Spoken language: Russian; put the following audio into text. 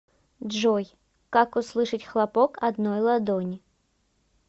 джой как услышать хлопок одной ладони